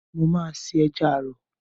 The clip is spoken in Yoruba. Mo máa se Ẹja àrọ̀.